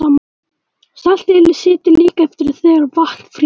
Saltið situr líka eftir þegar vatn frýs.